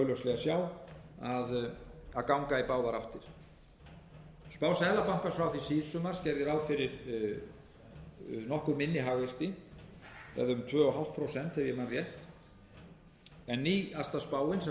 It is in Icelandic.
sjá að ganga í báðar áttir spá seðlabankans frá því síðsumars gerði ráð fyrir nokkuð minni hagvexti það er um tvö og hálft prósent ef ég man rétt en nýjasta spáin sem fram hefur komið er